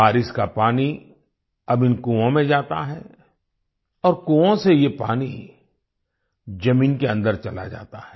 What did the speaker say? बारिश का पानी अब इन कुओं में जाता है और कुओं से ये पानी जमीन के अंदर चला जाता है